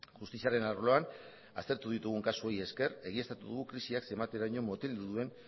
justiziaren arloan aztertu ditugun kasuei esker egiaztatu dugu krisiak zenbateraino moteldu duen